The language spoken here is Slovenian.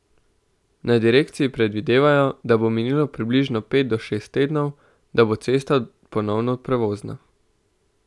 Na direkciji predvidevajo, da bo minilo približno pet do šest tednov, da bo cesta ponovno prevozna.